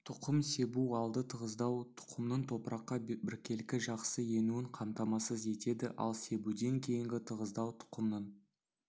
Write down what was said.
тұқым себу алды тығыздау тұқымның топыраққа біркелкі жақсы енуін қамтамасыз етеді ал себуден кейінгі тығыздау тұқымның